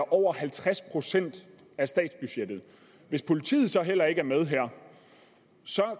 over halvtreds procent af statsbudgettet hvis politiet så heller ikke er med